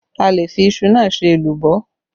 A le fi iṣu náà ṣe èlùbọ́